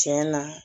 Tiɲɛ na